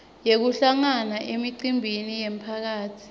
yekuhlangana emicimbini yemphakatsi